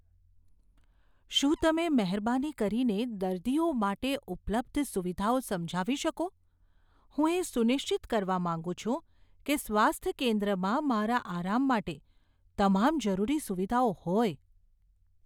શું તમે મહેરબાની કરીને દર્દીઓ માટે ઉપલબ્ધ સુવિધાઓ સમજાવી શકો? હું એ સુનિશ્ચિત કરવા માંગુ છું કે સ્વાસ્થ્ય કેન્દ્રમાં મારા આરામ માટે તમામ જરૂરી સુવિધાઓ હોય.